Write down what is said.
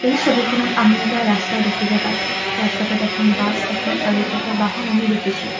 এই ছবিখনত আমি এখন ৰাস্তা দেখিব পাইছোঁ ৰাস্তাটোত এখন বাছ এখন চাৰি চকীয়া বাহন আমি দেখিছোঁ।